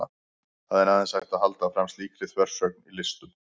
það er aðeins hægt að halda fram slíkri þversögn í listum